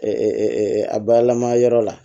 a bayɛlɛma yɔrɔ la